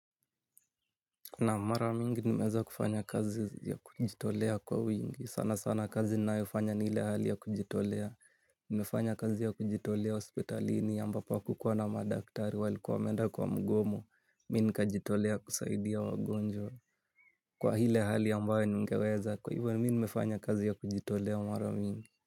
Naam, mara mingi nimeweza kufanya kazi ya kujitolea kwa wingi sana sana kazi ninayo fanya ni ile ya kujitolea. Niemefanya kazi ya kujitolea hospitalini ambapo hakukuwa na madaktari walikuwa wameenda kwa mgomo. Mimi nikajitolea kusaidia wagonjwa. Kwa ile hali ambayo ningeweza kwa hivyo nimefanya kazi ya kujitolea mara mingi.